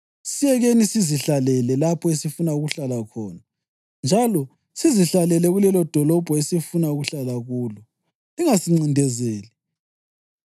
Siyekeleni sizihlalele lapho esifuna ukuhlala khona njalo sizihlalele kulelodolobho esifuna ukuhlala kulo. Lingasincindezeli.